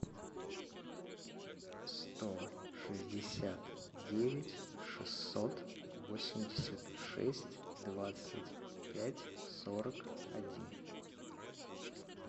сто шестьдесят девять шестьсот восемьдесят шесть двадцать пять сорок один